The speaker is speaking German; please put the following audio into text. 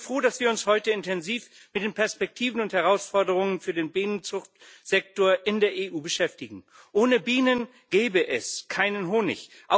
Ich bin froh, dass wir uns heute intensiv mit den Perspektiven und Herausforderungen für den Bienenzuchtsektor in der EU beschäftigen. Ohne Bienen gäbe es keinen Honig